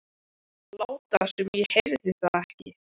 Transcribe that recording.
Láta sem ég heyrði það ekki.